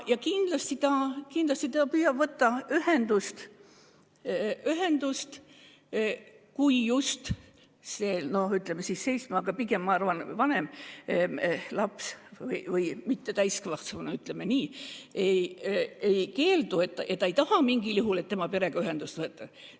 Ja kindlasti arst püüab võtta ühendust perega, kui just see seitsmeaastane, aga pigem ikka palju vanem laps või mittetäiskasvanu, ütleme nii, seda ei keela, kui ta ei taha mingil juhul, et tema perega ühendust võetakse.